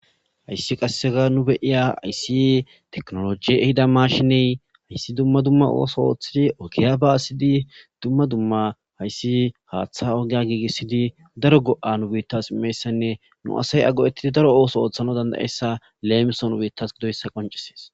Hayisi qasseka nu beyiya ayssi teknoloji ehida mashiney ayssi dumma dumma ooso oothidi okiya ba asidi dumma dumma hayssi haaththa ogeya giigissidi daro go7a nu biittas imessanne nu asay ago7etidi daro ooso ooththana dandayessa leemison beittas gidoyssa qoncesees